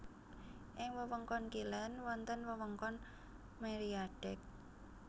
Ing wewengkon kilèn wonten wewengkon Mériadeck